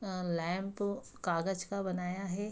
अ lamp कागज का बनाया है।